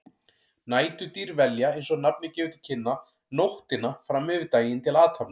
Næturdýr velja, eins og nafnið gefur til kynna, nóttina fram yfir daginn til athafna.